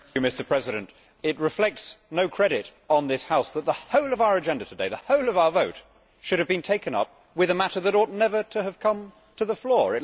Mr President, it reflects no credit on this House that the whole of our agenda today, the whole of our vote, should have been taken up with a matter that ought never to have come to the floor.